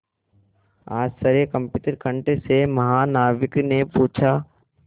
आश्चर्यकंपित कंठ से महानाविक ने पूछा